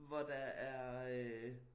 Hvor der er øh